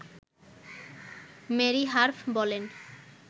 Mary হার্ফ বলেন